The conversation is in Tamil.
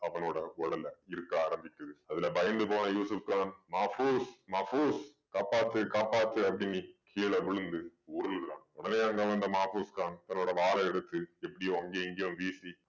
அவனோட உடலை இறுக்க ஆரம்பிக்குது. அதுல பயந்து போன யூசுஃப் கான் மாஃபூஸ் மாஃபூஸ் காப்பாத்து காப்பாத்து அப்படீன்னு கீழ விழுந்து உருளுறான். உடனே அங்க வந்த மாஃபூஸ் கான் தன்னோட வாளை எடுத்து எப்படியோ அங்கேயும் இங்கேயும் வீசி